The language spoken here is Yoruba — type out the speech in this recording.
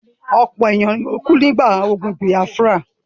ọ̀pọ̀ ènìyàn ló kú nígbà ogun bìâfúrà.